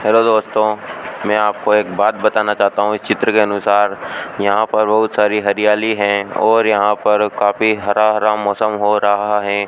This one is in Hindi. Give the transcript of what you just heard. हेलो दोस्तों मैं आपको एक बात बताना चाहता हूं इस चित्र के अनुसार यहां पर बहुत सारी हरियाली है और यहां पर काफी हरा हरा मौसम हो रहा है।